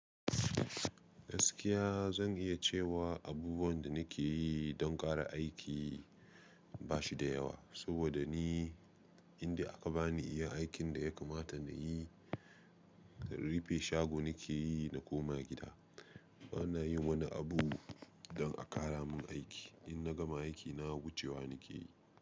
Gaskiya zan iya cewa abubuwan da nake yi don ƙara aiki ba shi da yawa, saboda ni indai aka ba ni iya aikin da ya kamata na yi, rufe shago nake yi na koma gida. Bana yin wani abu don a ƙara mun aiki. In na gama aiki na wucewa nake yi.